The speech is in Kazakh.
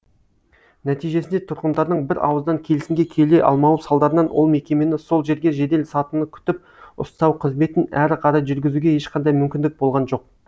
нәтижесінде тұрғындардың бір ауыздан келісімге келе алмауы салдарынан ол мекемені сол жерге жедел сатыны күтіп ұстау қызметін әрі қарай жүргізуге ешқандай мүмкіндік болған жоқ